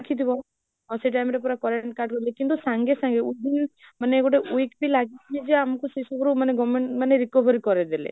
ଦେଖିଥିବ ଆଉ ସେଇ time ରେ ପୁରା current କିନ୍ତୁ ସଙ୍ଗେ ସଙ୍ଗେ, ମାନେ ଗୋଟେ week ବି ଲାଗିନୀ ଯେ ଆଙ୍କୁ ସେ ସବୁରୁ ମନେ government ମାନେ recovery କରେଇଦେଲେ